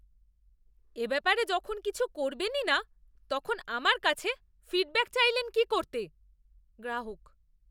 এ ব্যাপারে যখন কিছু করবেনই না তখন আমার কাছে ফিডব্যাক চাইলেন কী করতে? গ্রাহক